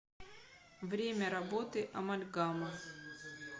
время работы амальгама